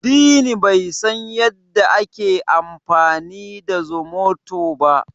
Dini bai san yadda ake amfani da zomoto ba.